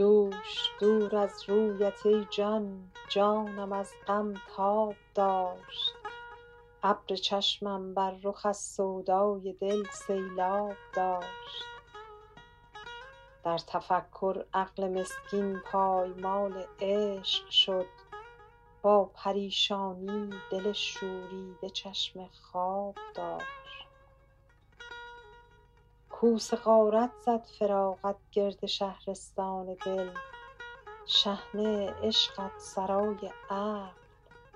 دوش دور از رویت ای جان جانم از غم تاب داشت ابر چشمم بر رخ از سودای دل سیلآب داشت در تفکر عقل مسکین پایمال عشق شد با پریشانی دل شوریده چشم خواب داشت کوس غارت زد فراقت گرد شهرستان دل شحنه عشقت سرای عقل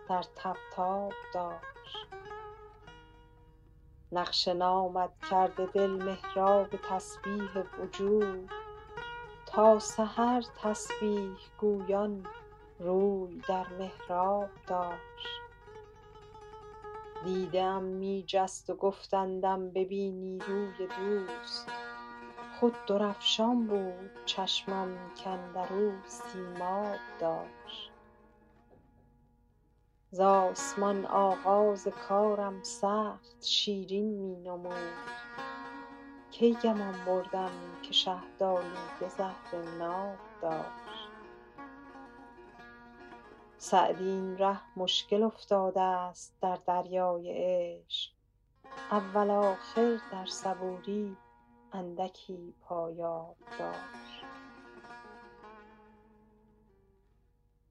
در طبطاب داشت نقش نامت کرده دل محراب تسبیح وجود تا سحر تسبیح گویان روی در محراب داشت دیده ام می جست و گفتندم نبینی روی دوست خود درفشان بود چشمم کاندر او سیماب داشت ز آسمان آغاز کارم سخت شیرین می نمود کی گمان بردم که شهدآلوده زهر ناب داشت سعدی این ره مشکل افتادست در دریای عشق اول آخر در صبوری اندکی پایاب داشت